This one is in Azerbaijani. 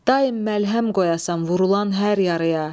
Daim məlhəm qoyasan vurulan hər yarıya.